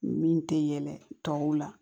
Min tɛ yɛlɛ tɔw la